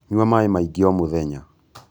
Nyua maī maingī o mūthenya